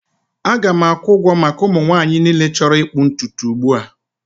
Aga m akwụ ụgwọ maka ụmụ nwanyị niile chọrọ ịkpụ ntutu ugbu a